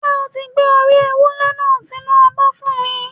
Ṣé o ti Gbé orí ewúré náà sí inú abọ́ fún mi?